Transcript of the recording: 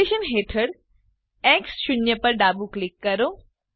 location હેઠળ X 0 પર ડાબું ક્લિક કરો